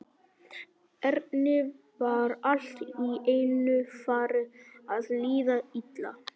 Erni var allt í einu farið að líða illa.